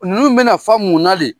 Ninnu bɛna fa munna de?